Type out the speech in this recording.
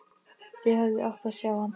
Þið hefðuð átt að sjá hann!